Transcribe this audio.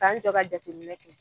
K'an jɔ ka jateminɛ kɛ.